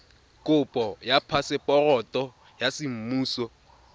kopo ya phaseporoto ya semmuso